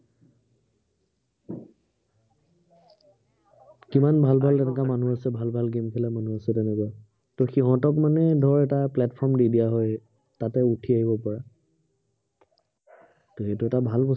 কিমান ভাল ভাল তেনেকুৱা মানুহ আছে। ভাল ভাল game খেলা মানুহ আছে। তেনেকুৱা, ত সিহঁতক মানে ধৰ এটা platform দি দিয়া হয়, তাহাঁতে উঠি আহিব পৰা। ত সেইটো এটা ভাল ব